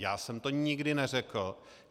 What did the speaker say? Já jsem to nikdy neřekl.